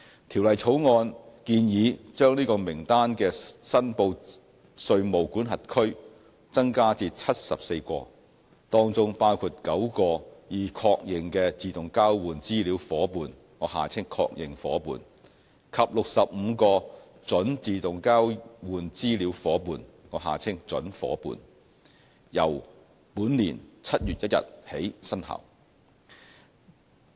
《條例草案》建議把這名單的"申報稅務管轄區"增加至74個，當中包括9個已確認的自動交換資料夥伴及65個準自動交換資料夥伴，由本年7月1日起生效。